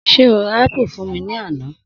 Sé o bá ra ápù fún mi ní àná?